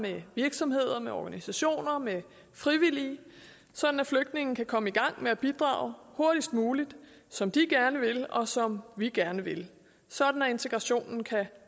med virksomheder med organisationer med frivillige sådan at flygtninge kan komme i gang med at bidrage hurtigst muligt som de gerne vil og som vi gerne vil sådan at integrationen kan